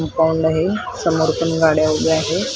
समोर पण गाड्या उभ्या आहेत .